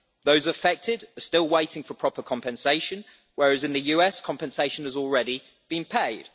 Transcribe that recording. Those affected are still waiting for proper compensation, whereas in the US, compensation has already been paid.